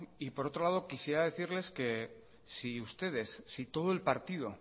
y por otro lado quisiera decirles que si todo el partido